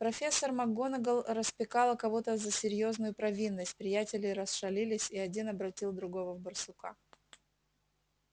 профессор макгонагалл распекала кого-то за серьёзную провинность приятели расшалились и один обратил другого в барсука